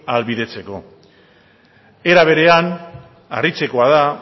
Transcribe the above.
ahalbidetzeko era berean harritzekoa da